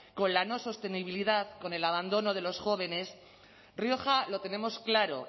con la no sostenibilidad con el abandono de los jóvenes rioja lo tenemos claro